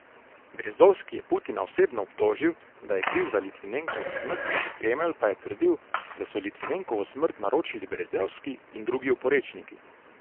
Berezovski je Putina osebno obtožil, da je kriv za Litvinenkovo smrt, Kremelj pa je trdil, da so Litvinenkovo smrt naročili Berezovski in drugi oporečniki.